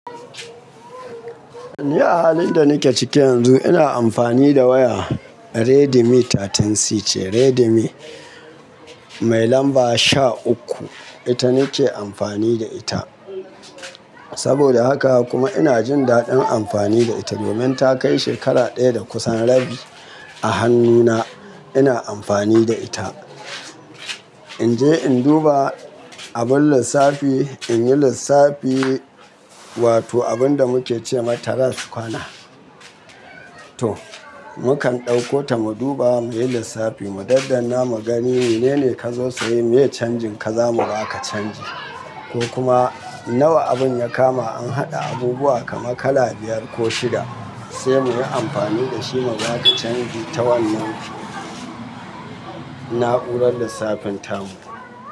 Ni ahalin da nake ciki yanzu ina amfani da waya Redmi 13C ce Redmi mai lamba sha uku ita nake amfani da ita. Saboda haka kuma ina jin daɗin amfani da ita domin ta kai shekara ɗaya da kusan rabi a hannuna ina amfani da ita. In je in duba abin lissafi in yi lissafi wato abin da muke ce ma tara sukwana. To, mukan ɗauko ta mu duba mu yi lissafi mu daddana mu gani menene kazo sayi me canjin ka zamu baka canji ko kuma nawa abin ya kama an haɗa abubuwa kaman kala biyar ko shida sai muyi amfani da shi mu baka canji ta wannan na'urar lissafin tamu.